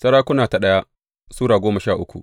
daya Sarakuna Sura goma sha uku